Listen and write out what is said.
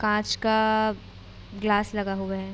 काच का ग्लास लगा हुवा है।